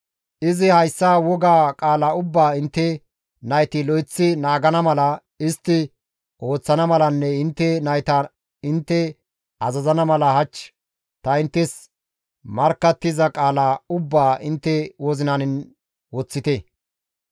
izi, «Hayssa woga qaala ubbaa intte nayti lo7eththi naagana mala, istti ooththana malanne intte nayta intte azazana mala hach ta inttes markkattiza qaala ubbaa intte wozinan woththite.